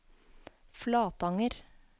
Flatanger